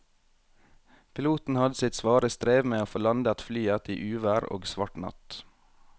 Piloten hadde sitt svare strev med å få landet flyet i uvær og svart natt.